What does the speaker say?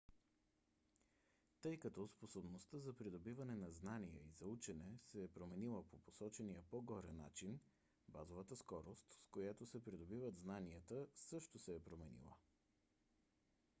тъй като способността за придобиване на знания и за учене се е променила по посочения по-горе начин базовата скорост с която се придобиват знанията също се е променила